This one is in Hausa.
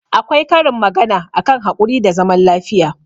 Akwai karin magana a kan haƙuri da zaman lafiya.